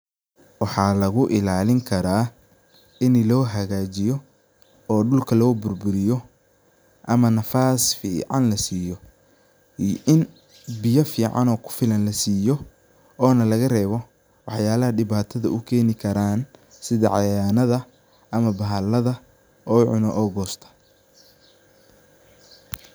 Waxa lagu ilalini kara inu lohagajiyo oo dulka loo burburiyo ama nafas fican lasiyo iyo in biyo fican oo kufilan lasiyo ona lagarebo waxyala dibata ukeni karan sidhi cayayanadha ama bahalada oo cuno oo gosto.